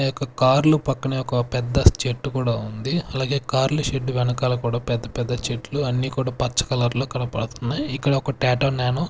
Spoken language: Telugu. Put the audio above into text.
ఆ యొక్క కార్లు పక్కనే ఒక పెద్ద చెట్టు కూడా ఉంది. అలాగే కార్లు షెడ్ వెనకాల కూడా పెద్ద పెద్ద చెట్లు అన్నీ కూడా పచ్చ కలర్ లో కనపడుతున్నాయి ఇక్కడ ఒక టాటో న్యానో --